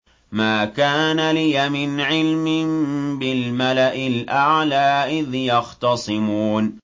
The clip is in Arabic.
مَا كَانَ لِيَ مِنْ عِلْمٍ بِالْمَلَإِ الْأَعْلَىٰ إِذْ يَخْتَصِمُونَ